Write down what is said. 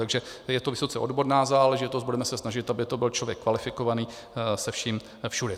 Takže je to vysoce odborná záležitost, budeme se snažit, aby to byl člověk kvalifikovaný se vším všudy.